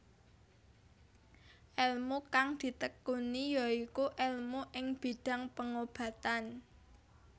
Elmu kang ditekuni ya iku elmu ing bidhang pengobatan